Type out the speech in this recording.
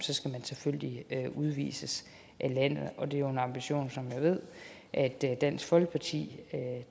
selvfølgelig udvises af landet og det er en ambition som jeg ved at dansk folkeparti